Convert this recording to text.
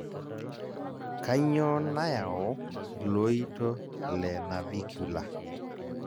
kanyioo nayau iloito le navicular?